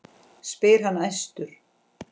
spyr hann æstur.